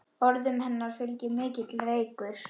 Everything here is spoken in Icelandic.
Orðum hennar fylgir mikill reykur.